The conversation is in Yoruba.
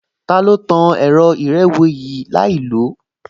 Ta ló tan ẹ̀rọ ìrẹ́wèé yìí láìlòó?